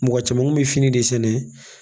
Mɔgɔ caman kun bɛ fini de sɛnɛ